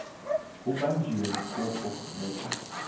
ubanjiwe kufu neka